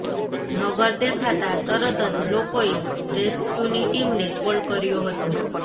મગર દેખાતા તરત જ લોકોએ રેસ્ક્યૂની ટીમને કોલ કર્યો હતો